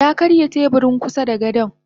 Yakarya teburin kusada gadon.